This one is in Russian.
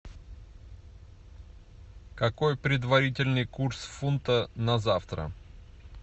какой предварительный курс фунта на завтра